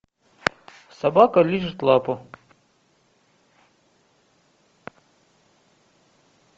собака лижет лапу